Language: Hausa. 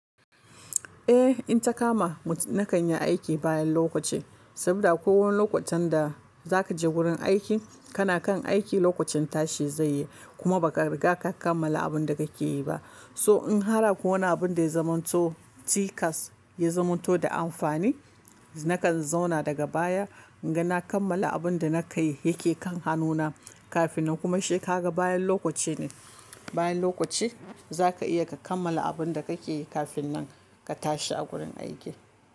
Eh, in ta kama ni, na kan yi aiki bayan lokaci, saboda kowane lokutan da za ka je wurin aiki, kana kan aiki lokacin tashi zai yi, kuma ba ka riga ka kammala abin da ka ke yi ba. So in har akwai wani abun da ya zamanto tikas, ya zamanto da amfani, nakan zauna daga baya, n'gana kammala abun da na kai yake kan hannuna kafin nan. Kuma shi ka ga bayan lokaci ne, bayan lokaci za ka iya ka kammala abun da ka ke yi kafin nan ka tashi a gurin aiki.